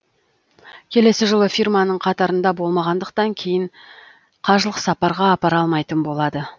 келесі жылы фирманың қатарында болмағандықтан кейін қажылық сапарға апара алмайтын болады